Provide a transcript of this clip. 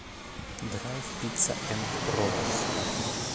драйв пицца энд роллс